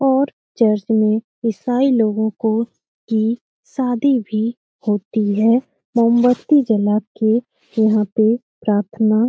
और चर्च में ईसाई लोगो को की शादी भी होती है मोमबती जला के वहाँ पे प्रार्थना--